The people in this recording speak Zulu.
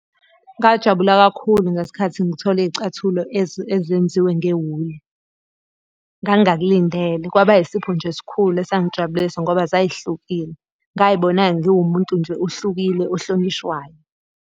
Ngajabula kakhulu ngesikhathi ngithola iy'cathulo ezenziwe ngewuli. Ngangingakulindele kwaba yisipho nje esikhulu esangijabulisa ngoba zay'hlukile. ngay'bona ngiwumuntu nje ohlukile ohlonishwayo.